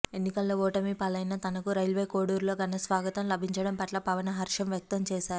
ఎన్నికల్లో ఓటమిపాలైన తనకు రైల్వేకోడూరులో ఘనస్వాగతం లభించడం పట్ల పవన్ హర్షం వ్యక్తం చేశారు